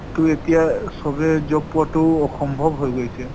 টো এতিয়া চবেই job পোৱাতো অসম্ভৱ হৈ গৈছে।